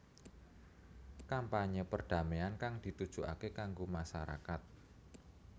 Kampanyé perdamaian kang ditujukaké kanggo masarakat